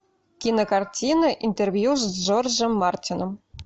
кинокартина интервью с джорджем мартином